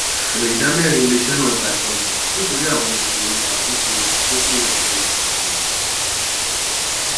èrè idámẹrin iléiṣẹ náà gba ìkólu nítorí àwọn ìṣòro ìṣàkóso àkókò àtẹyà ohun elo